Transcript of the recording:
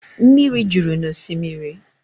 Mmiri juru n'osimiri